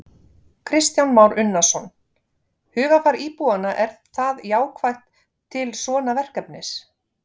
Kristján Már Unnarsson: Hugarfar íbúanna er það jákvætt til svona verkefnis?